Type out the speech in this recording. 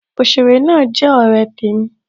Òsèré náà jẹ ọ̀rẹ́ temi